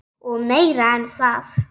Og meira en það.